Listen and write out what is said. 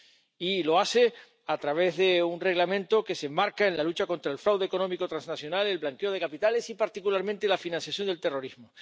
Y lo hace a través de un Reglamento que se enmarca en la lucha contra el fraude económico transnacional, el blanqueo de capitales y, particularmente, la financiación del terrorismo.